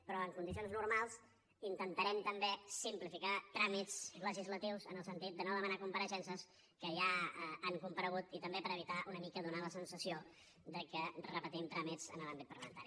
però en condicions normals intentarem també simplificar tràmits legislatius en el sentit de no demanar compareixences que ja han comparegut i també per evitar una mica donar la sensació que repetim tràmits en l’àmbit parlamentari